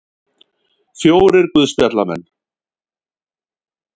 Fjórir guðspjallamenn.